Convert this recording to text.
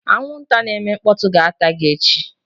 Anwụnta na-eme mkpọtụ ga-ata gị echi